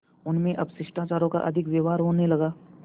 उनमें अब शिष्टाचार का अधिक व्यवहार होने लगा